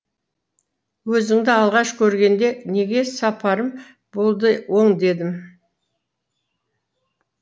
өзіңді алғаш көргенде неге сапарым болды оң дедім